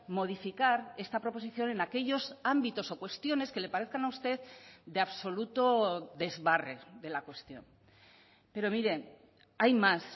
modificar esta proposición en aquellos ámbitos o cuestiones que le parezcan a usted de absoluto desbarre de la cuestión pero mire hay más